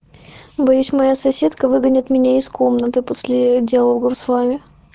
боюсь моя соседка выгонит меня из комнаты после диалога славе